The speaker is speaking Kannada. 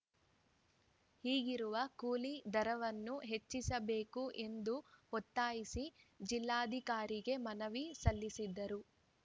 ಈಗಿರುವ ಕೂಲಿ ದರವನ್ನು ಹೆಚ್ಚಿಸಬೇಕು ಎಂದು ಒತ್ತಾಯಿಸಿ ಜಿಲ್ಲಾಧಿಕಾರಿಗೆ ಮನವಿ ಸಲ್ಲಿಸಿದರು